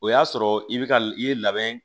O y'a sɔrɔ i bɛ ka i ye labɛn